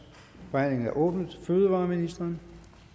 forhandlingen er åbnet fødevareministeren